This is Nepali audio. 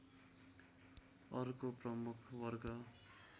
अर्को प्रमुख वर्ग